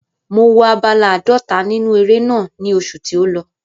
Mo wo abala àádọ́ta nínú eré náà ní oṣù tí ó lọ.